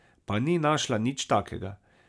Pa ni našla nič takega.